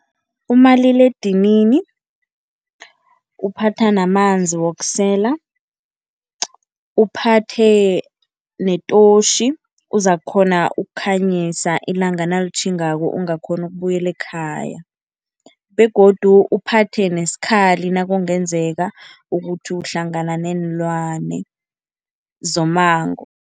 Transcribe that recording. Umaliledinini, uphatha namanzi wokusela, uphathe netotjhi, uzakukghona ukukhanyisa ilanga nalitjhingako ungakghoni ukubuyela ekhaya begodu uphathe nesikhali nakungenzeka ukuthi uhlangana neenlwane zommango.